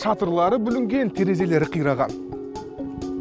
шатырлары бүлінген терезелері қираған